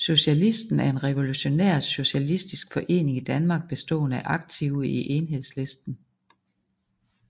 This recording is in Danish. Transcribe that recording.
Socialisten er en revolutionær socialistisk forening i Danmark bestående af aktive i Enhedslisten